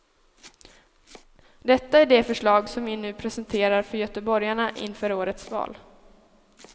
Detta är det förslag som vi nu presenterar för göteborgarna inför årets val.